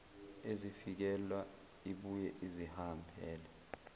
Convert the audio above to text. ezifikela ibuye izihambele